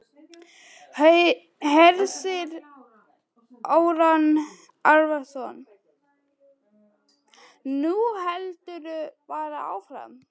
Hersir Aron Ólafsson: Nú heldurðu bara áfram?